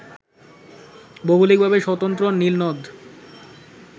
ভৌগোলিকভাবে স্বতন্ত্র নীল নদ